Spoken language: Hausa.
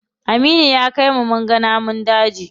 Aminu ya kai ni munga namun daji.